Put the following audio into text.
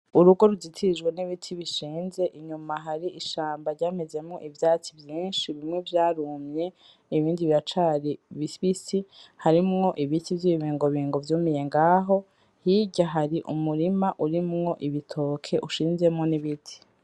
Urugo rutitirijwe n'ibiti bishinze inyuma hari ishamba ryamezemwo ivyatsi vyinshi bimwe vyarumye ibindi biracari bibisi harimwo ibiti vy'ibibingobingo vyumiye ngaho hirya hari umurima urimwo ibitoke ushinzemwo ibiti.